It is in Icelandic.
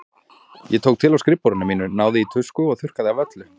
Ég tók til á skrifborðinu mínu, náði í tusku og þurrkaði af öllu.